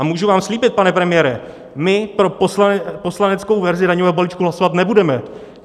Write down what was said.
A můžu vám slíbit, pane premiére, my pro poslaneckou verzi daňového balíčku hlasovat nebudeme.